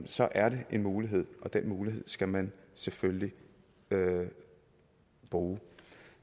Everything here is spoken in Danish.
så er det en mulighed og den mulighed skal man selvfølgelig bruge